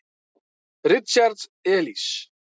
Richard Elis.